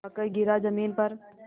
आकर गिरा ज़मीन पर